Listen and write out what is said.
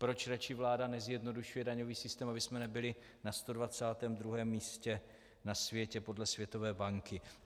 Proč raději vláda nezjednodušuje daňový systém, abychom nebyli na 122. místě na světě podle Světové banky?